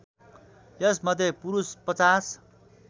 यस मध्ये पुरुष ५०